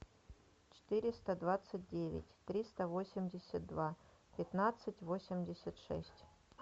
четыреста двадцать девять триста восемьдесят два пятнадцать восемьдесят шесть